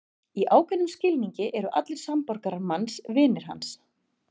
Í ákveðnum skilningi eru allir samborgarar manns vinir hans.